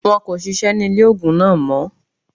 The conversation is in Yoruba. Wọn kò sisẹ́ ní ilé ògùn náà mọ́